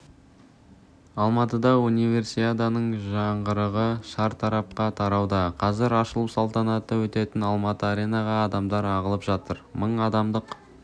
алматыда универсиаданың жаңғырығы шартарапқа тарауда қазір ашылу салтанаты өтетін алматы аренаға адамдар ағылып жатыр мың адамдық